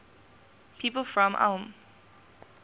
people from ulm